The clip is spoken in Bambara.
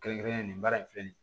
Kɛrɛnkɛrɛnnen baara in filɛ nin ye